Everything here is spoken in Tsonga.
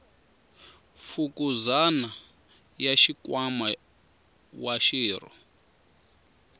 fukuzana ya nkwama wa xirho